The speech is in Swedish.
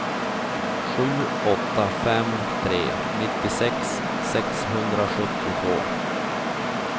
sju åtta fem tre nittiosex sexhundrasjuttiotvå